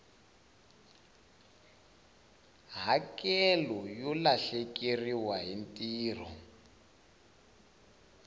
hakelo yo lahlekeriwa hi ntirho